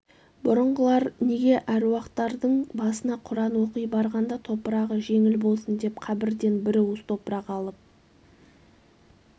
бұрынғылар неге аруақтардың басына құран оқи барғанда топырағы жеңл болсын деп қабырден бір уыс топырақ алып